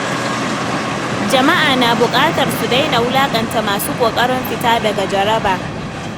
Jama’a na bukatar su daina wulakanta masu kokarin fita daga jaraba.